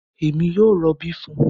Èmi yóò robi fún un